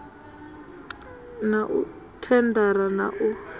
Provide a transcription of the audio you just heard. na u thendara na u